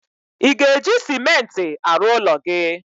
Ị ga-eji Simenti arụ ụlọ gị?